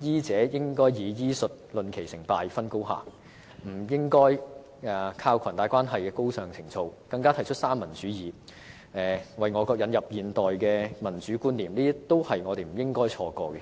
醫者應以醫術論其成敗、分高下，而不應依靠裙帶關係的高尚情操，更提出三民主義，為我國引入現代的民主觀念，這些都是我們不應錯過的。